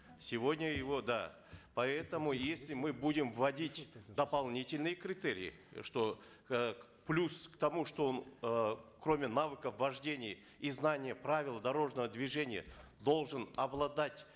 сегодня его да поэтому если мы будем вводить дополнительные критерии что э плюс к тому что он э кроме навыков вождения и знания правил дорожного движения должен обладать